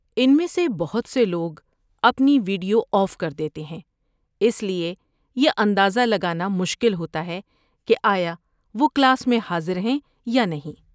ان میں سے بہت سے لوگ اپنی ویڈیو آف کر دیتے ہیں، اس لیے یہ اندازہ لگانا مشکل ہوتا ہے کہ آیا وہ کلاس میں حاضر ہیں یا نہیں۔